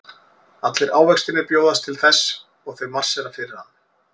Allir ávextirnir bjóðast til þess og þau marsera fyrir hann.